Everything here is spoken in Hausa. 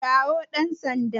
Kirawo dan Sanda